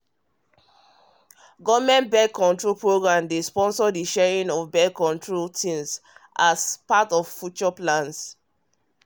government birth-control program dey sponsor the sharing of birth-control thingsas part of future plans